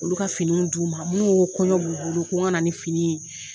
Olu ka finiw d'u ma minnu ko kɔɲɔ b'u bolo ko n kana ni fini ye